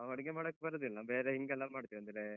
ನಾ, ನಾವಡಿಗೆ ಮಾಡಕ್ ಬರುದಿಲ್ಲ. ಬೇರೆ ಹಿಂಗೆಲ್ಲ ಮಾಡ್ತೇವೆ. ಅಂದ್ರೆ,